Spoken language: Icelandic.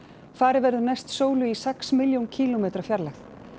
farið verður næst sólu í sex milljón kílómetra fjarlægð